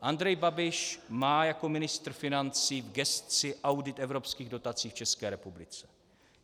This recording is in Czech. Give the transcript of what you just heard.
Andrej Babiš má jako ministr financí v gesci audit evropských dotací v České republice.